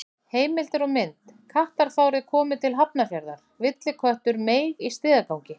Heimildir og mynd: Kattafárið komið til Hafnarfjarðar: Villiköttur meig í stigagangi.